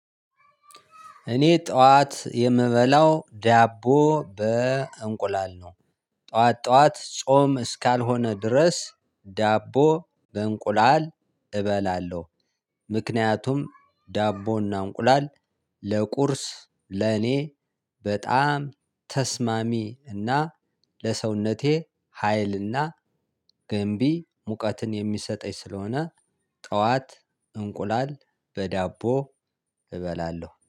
እኔ ጠዋት የምበላው ዳቦ በእንቁላል ነው። ጠዋት ጠዋት ጾም እስካልሆነ ድረስ ዳቦ በእንቁላል እበላለሁ። ምክንያቱም ዳቦና እንቁላል ለቁርስ ለኔ በጣም ተስማሚ እና ለሰውነቴ ሀይል እና ገንቢ ሙቀትን የሚሰጠኝ ስለሆነ። ጠዋት እንቁላል በዳቦ እበላለሁ